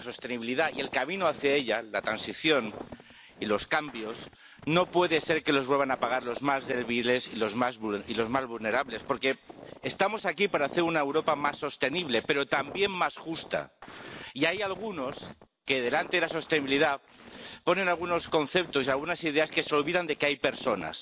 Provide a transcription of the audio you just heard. no puede ser que la sostenibilidad y el camino hacia ella, la transición y los cambios, los vuelvan a pagar los más débiles y los más vulnerables, porque estamos aquí para hacer una Europa más sostenible, pero también más justa. Y hay algunos que, delante de la sostenibilidad, ponen algunos conceptos y algunas ideas que se olvidan de que hay personas